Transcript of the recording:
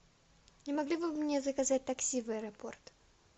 не могли бы вы мне заказать такси в аэропорт